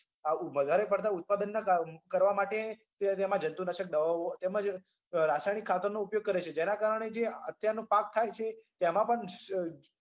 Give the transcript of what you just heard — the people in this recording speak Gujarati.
વધારે પડતા ઉત્પાદનના કાર કરવા માટે તેમાં જંતુનાશક દવાઓ તેમજ રાસાયણિક ખાતરનો ઉપયોગ કરે છે જેના કારણે જે અત્યારનો પાક થાય છે તેમાં પણ